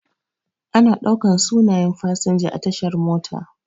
Ana ɗaukan sunaye fasinja a tashar mota.